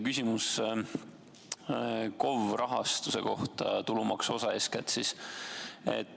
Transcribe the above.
Küsimus KOV-ide rahastuse kohta, tulumaksuosa eeskätt.